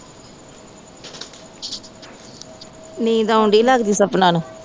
ਨੀਂਦ ਆਉਂਦੀ ਲੱਗਦੀ ਸਪਨਾ ਨੂੰ